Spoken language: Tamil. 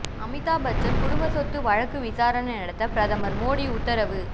அமிதாப்பச்சன் குடும்ப சொத்து வழக்கு விசாரணை நடத்த பிரதமர் மோடி உத்தரவு